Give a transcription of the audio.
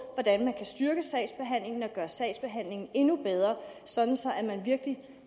hvordan man kan styrke sagsbehandlingen og gøre sagsbehandlingen endnu bedre sådan så man virkelig